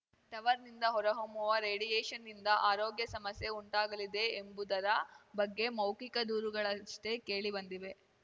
ಟವರ್‌ನಿಂದ ಹೊರಹೊಮ್ಮುವ ರೇಡಿಯೇಷನ್‌ನಿಂದ ಆರೋಗ್ಯ ಸಮಸ್ಯೆ ಉಂಟಾಗಲಿದೆ ಎಂಬುದರ ಬಗ್ಗೆ ಮೌಖಿಕ ದೂರುಗಳಷ್ಟೇ ಕೇಳಿ ಬಂದಿವೆ